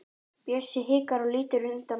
Bjössi hikar og lítur undan.